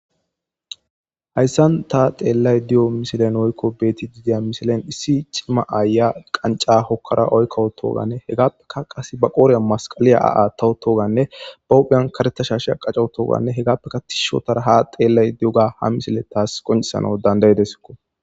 Hayssan ta xeellay di'o misilen oykko beeti didiya misilen issi cimma aaya qanca hokkara oykkowutoganne hegaappeka qas ba qooriya masqaliya ba tawu toganne ba qohphiyan karetasha sh a qaca toganne hegaappeka ti shotara ha xeellay di7oga ha misile taas qoncesana dandaydesko.